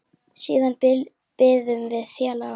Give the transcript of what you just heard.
Siðan biðum við félaga okkar.